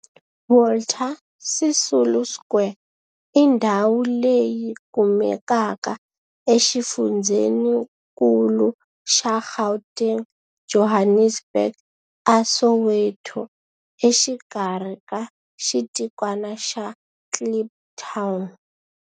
Walter Sisulu Square i ndhawu leyi kumekaka exifundzheni-nkulu xa Gauteng, Johannesburg, a Soweto, exikarhi ka xitikwana xa Kliptown.